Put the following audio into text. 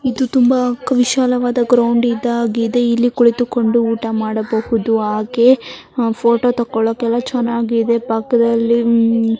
ಇದು ತುಂಬಾ ವಿಶಾಲವಾದ ಗ್ರೌಂಡ್ ಇದಾಗಿದೆ ಇಲ್ಲಿ ಕುಳಿತುಕೊಂಡು ಊಟ ಮಾಡಬಹುದು ಹಾಗೆ ಫೋಟೋ ತೋಕೋಳಿಕೆಲ್ಲಾ ಚನ್ನಾಗಿದೆ ಪಕ್ಕದಲ್ಲಿ ಉಹ್ --